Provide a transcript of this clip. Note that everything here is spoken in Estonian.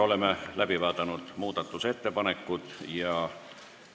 Oleme muudatusettepanekud läbi vaadanud.